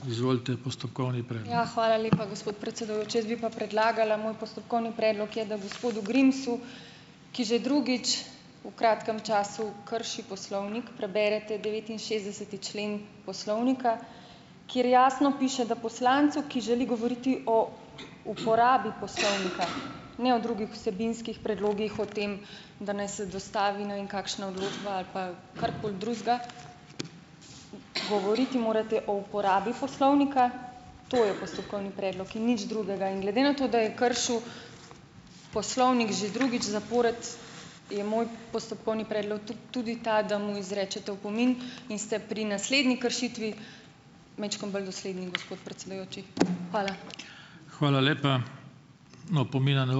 Ja, hvala lepa, gospod predsedujoči. Jaz bi pa predlagala, moj postopkovni predlog je, da gospodu Grimsu, ki že drugič v kratkem času krši poslovnik, preberete devetinšestdeseti člen poslovnika, kjer jasno piše, da poslancu, ki želi govoriti o uporabi poslovnika, ne o drugih vsebinskih predlogih, o tem, da naj se dostavi ne vem kakšna odločba ali pa karkoli drugega, govoriti morate o uporabi poslovnika, to je postopkovni predlog in nič drugega. In glede na to, da je kršil poslovnik že drugič zapored, je moj postopkovni predlog tudi ta, da mu izrečete opomin in ste pri naslednji kršitvi majčkeno bolj dosledni, gospod predsedujoči. Hvala.